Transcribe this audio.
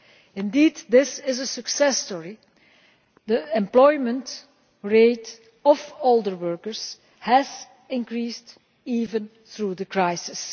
Indeed, this is a success story. The employment rate of older workers has increased even through the crisis.